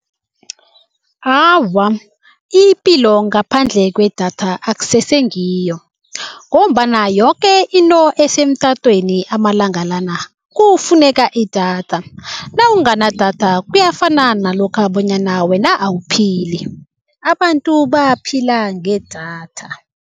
Awa, ipilo ngaphandle kwedatha akusesengiyo ngombana yoke into esemtatweni amalanga lana kufuneka idatha. Nawunganadatha kuyafana nalokha bonyana wena awuphili abantu baphila ngedatha.